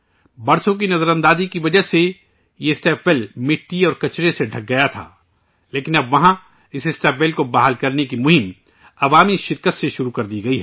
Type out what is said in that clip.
برسوں کی نظر اندازی کی وجہ سے یہ اسٹیپ ویل مٹی اور کچرے سے ڈھک گیا تھا لیکن اب اس اسٹیپ ویل کو بحال کرنے کی مہم عوامی شرکت کے ساتھ شروع کی گئی ہے